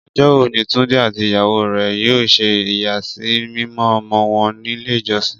Ọjọ́ wo ni Túndé àti ìyàwó rẹ̀ yóò ṣe ìyàsímímọ́ ọmọ wọn nílé ìjọsìn?